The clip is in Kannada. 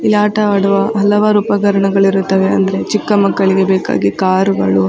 ಇಲ್ಲಿ ಆಟ ಆಡುವ ಹಲವಾರು ಉಪಕರಣಗಳಿರುತ್ತವೆ ಅಂದ್ರೆ ಚಿಕ್ಕ ಮಕ್ಕಳಿಗೆ ಬೇಕಾಗಿ ಕಾರು ಗಳು --